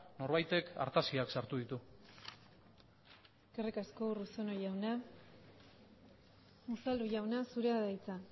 norbaitek artaziak sartu ditu eskerrik asko urruzuno jauna unzalu jauna zurea da hitza